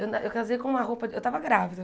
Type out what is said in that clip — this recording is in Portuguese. Eu casei com uma roupa... Eu tava grávida.